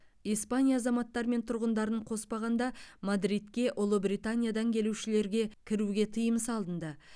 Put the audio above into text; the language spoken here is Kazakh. испания азаматтары мен тұрғындарын қоспағанда мадридке ұлыбританиядан келушілерге кіруге тыйым салынды